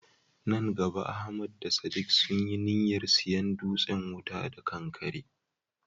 Nan gaba Ahmad da Sadiq sun yi niyyar siyan dutsen wuta da kankare.